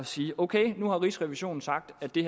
sige ok nu har rigsrevisionen sagt at det